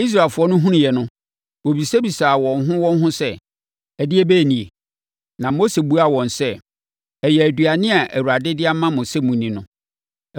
Israelfoɔ no hunuiɛ no, wɔbisabisaa wɔn ho wɔn ho sɛ, “Ɛdeɛbɛn nie?” Na Mose buaa wɔn sɛ, “Ɛyɛ aduane a Awurade de ama mo sɛ monni no.